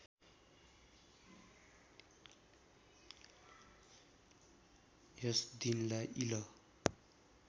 यस दिनलाई इल